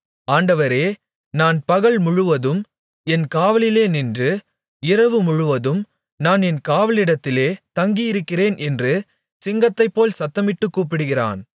ஆண்டவரே நான் பகல்முழுவதும் என் காவலிலே நின்று இரவுமுழுவதும் நான் என் காவலிடத்திலே தங்கியிருக்கிறேன் என்று சிங்கத்தைப்போல் சத்தமிட்டுக் கூப்பிடுகிறான்